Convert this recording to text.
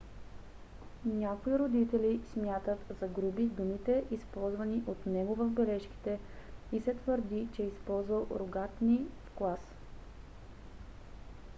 някои родители смятат за груби думите използвани от него в бележките и се твърди че е използвал ругатни в клас